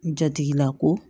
Jatigilako